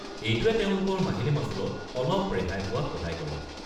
এইটোৱে তেওঁলোকৰ মাহিলী মাচুলত অলপ ৰেহাই পোৱাত সহায় কৰে।